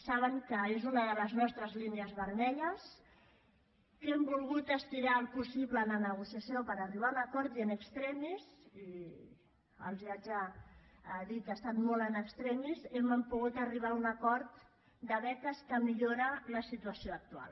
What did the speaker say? saben que és una de les nostres línies vermelles que hem volgut estirar el possible en la negociació per arribar a un acord i in extremis i els haig de dir que ha estat molt in extremis hem pogut arribar a un acord de beques que millora la situació actual